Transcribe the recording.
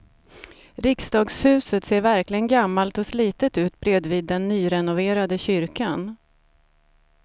Riksdagshuset ser verkligen gammalt och slitet ut bredvid den nyrenoverade kyrkan.